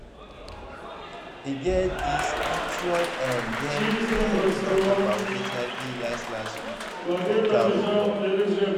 e get this actually eh dem hold talk about hiv last last week for town hall